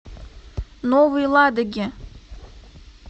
новой ладоги